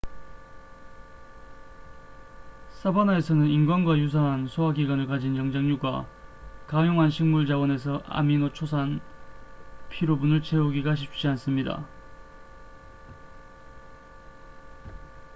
사바나에서는 인간과 유사한 소화기관을 가진 영장류가 가용한 식물 자원에서 아미노초산 필요분을 채우기가 쉽지 않습니다